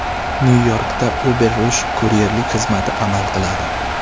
Nyu-Yorkda UberRush kuryerlik xizmati amal qiladi.